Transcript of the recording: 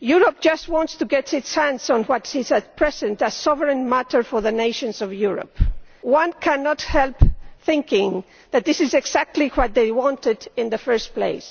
Europe just wants to get its hands on what is at present a sovereign matter for the nations of Europe. One cannot help thinking that this is exactly what they wanted in the first place.